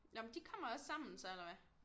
Nå men de kommer også sammen så eller hvad